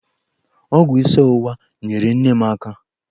Ọgwụ isi ọwụwa nyeere nne m aka.